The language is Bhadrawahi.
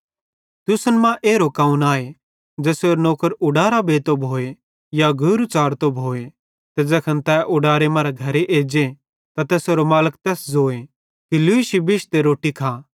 तुसन मां एरो कौन आए ज़ेसेरो नौकर उडारां बेंतो भोए या गौरू च़ारतो भोए ते ज़ैखन तै उडारे मरां घरे एज्जे त तैसेरो मालिक तैस ज़ोए कि लूशी बिश्श ते रोट्टी खा